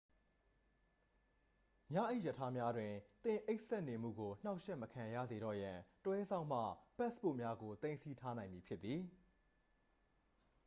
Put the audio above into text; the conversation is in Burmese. ညအိပ်ရထားများတွင် သင်အိပ်စက်နေမှုကို နှောင့်ယှက်မခံရတော့စေရန် တွဲစောင့်မှ ပတ်စ်ပို့များကို သိမ်းဆည်းထားနိုင်မည်ဖြစ်သည်